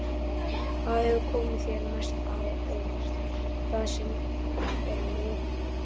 Hvað hefur komið þér mest á óvart það sem af er móti?